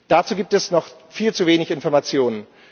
Dazu gibt es noch viel zu wenig Informationen.